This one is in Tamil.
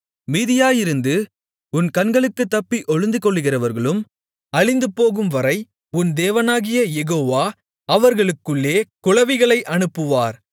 மீதியாயிருந்து உன் கண்களுக்குத்தப்பி ஒளிந்துகொள்ளுகிறவர்களும் அழிந்துபோகும்வரை உன் தேவனாகிய யெகோவா அவர்களுக்குள்ளே குளவிகளை அனுப்புவார்